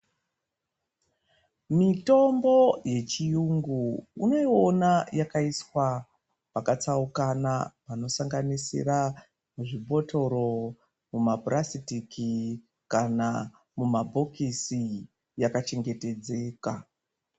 Mitombo yechiyungu unoiona yakaiswa pakatsaukana panosanganisira zvibhotoro, mumapurasitiki kana mumabhokisi yaka chengetedzeka.